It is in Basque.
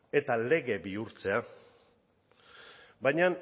eta lege bihurtzea baina